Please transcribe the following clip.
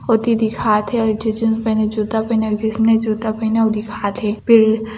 ओति दिखात हे अउ एक झि जींस पहिने जुता पहिने जिस ने जूता पहिने अउ दिखात हे पेड़ --